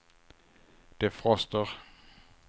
defroster